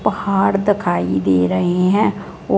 पहाड़ दखाई दे रही है ओ--